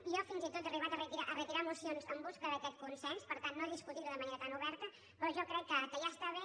jo fins i tot he arribat a retirar mocions en cer·ca d’aquest consens per tant no discutir·ho de manera tan oberta però jo crec que ja està bé